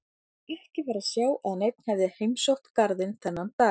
Ekki var að sjá að neinn hefði heimsótt garðinn þennan dag.